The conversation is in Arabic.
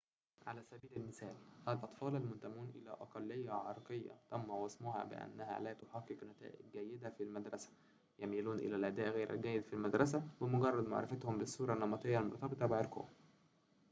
على سبيل المثال الأطفال المنتمون إلى أقلية عرقية تم وصمها بأنها لا تحقق نتائج جيدة في المدرسة يميلون إلى الأداء غير الجيد في المدرسة بمجرد معرفتهم بالصورة النمطية المرتبطة بعرقهم